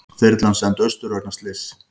Þyrlan send austur vegna slyss